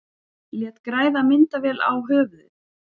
Lét græða myndavél í höfuðið